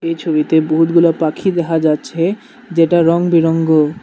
এই ছবিতে বহুতগুলা পাখি দেখা যাচ্ছে যেটা রঙবিরঙ্গ।